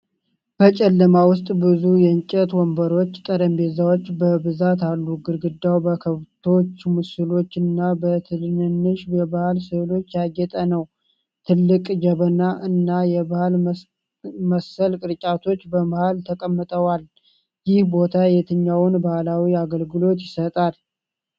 በጨለማ ውስጥ ብዙ የእንጨት ወንበሮችና ጠረጴዛዎች በብዛት አሉ። ግድግዳው በከብቶች ምስሎችና በትንንሽ የባህል ሥዕሎች ያጌጠ ነው። ትልቅ ጀበና እና የባህል መሰል ቅርጫቶች በመሃል ተቀምጠዋል። ይህ ቦታ የትኛውን ባህላዊ አገልግሎት ይሰጣል?